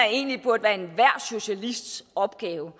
egentlig burde være enhver socialists opgave